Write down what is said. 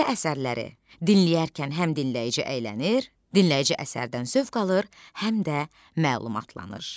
Belə əsərləri dinləyərkən həm dinləyici əylənir, dinləyici əsərdən zövq alır, həm də məlumatlanır.